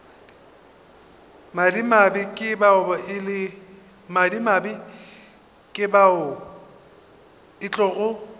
madimabe ke bao e tlogo